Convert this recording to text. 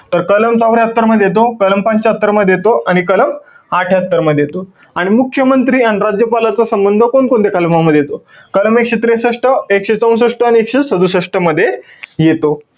तर कलम चौर्यात्तर मध्ये येतो, कलम पंच्यात्तर मध्ये येतो आणि कलम अठ्ठयात्तर मध्ये येतो. आणि मुख्यमंत्री आणि राज्यपालाचा संबंध कोणकोणत्या कलमांमध्ये येतो? कलम एकशे त्रेसष्ट, एकशे चौसष्ट आणि एकशे सदुसष्ट मध्ये येतो.